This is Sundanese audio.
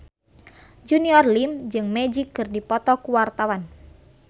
Junior Liem jeung Magic keur dipoto ku wartawan